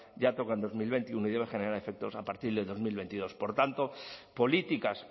ya toca en dos mil veintiuno y debe generar efectos a partir de dos mil veintidós por tanto políticas